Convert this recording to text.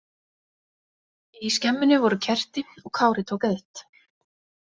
Í skemmunni voru kerti og Kári tók eitt.